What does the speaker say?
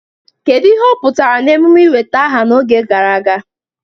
Kedu ihe ọ pụtara na emume ị nweta aha n'oge gara aga?